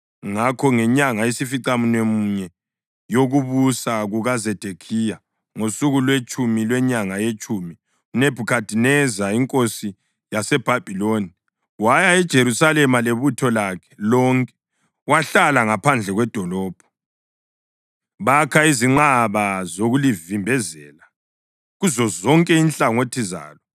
Ngakho ngenyanga yesificamunwemunye yokubusa kukaZedekhiya, ngosuku lwetshumi lwenyanga yetshumi, uNebhukhadineza inkosi yaseBhabhiloni, waya eJerusalema lebutho lakhe lonke. Bahlala ngaphandle kwedolobho, bakha izinqaba zokulivimbezela kuzozonke inhlangothi zalo.